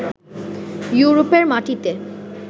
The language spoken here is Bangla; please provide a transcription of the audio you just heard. ইউরোপের মাটিতে